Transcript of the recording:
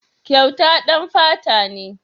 Kyauta ɗan fata ne.